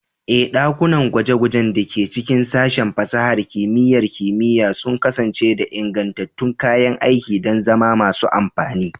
Ee, ɗakunan gwaje-gwajen da ke cikin Sashen Fasahar Kimiyyar Kimiyya sun kasance da ingantattun kayan aiki don zama masu amfani.